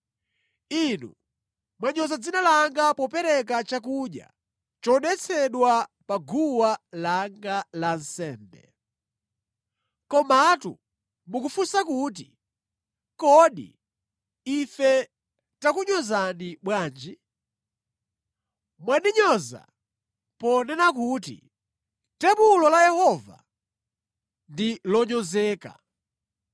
“Inu mwanyoza dzina langa popereka chakudya chodetsedwa pa guwa langa lansembe. “Komatu mukufunsa kuti, ‘Kodi ife takunyozani bwanji?’ “Mwandinyoza ponena kuti tebulo la Yehova ndi lonyozeka.